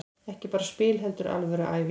Ekki bara spil heldur alvöru æfing.